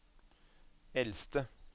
eldste